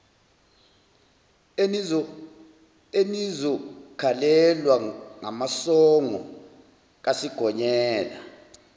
enizokhalelwa ngamasongo kasigonyela